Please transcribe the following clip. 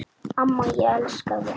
Amma, ég elska þig.